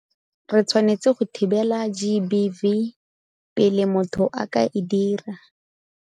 Re tshwanetse go thibela GBV pele motho a ka e dira.